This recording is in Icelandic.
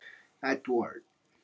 Edvard